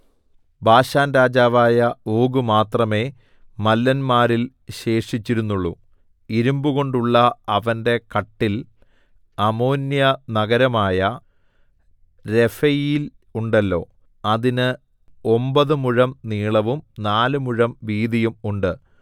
ബാശാൻരാജാവായ Og മാത്രമേ മല്ലന്മാരിൽ ശേഷിച്ചിരുന്നുള്ളു ഇരിമ്പുകൊണ്ടുള്ള അവന്റെ കട്ടിൽ അമ്മോന്യനഗരമായ രെഫയീൽ ഉണ്ടല്ലോ അതിന് ഒമ്പത് മുഴം നീളവും നാല് മുഴം വീതിയും ഉണ്ട്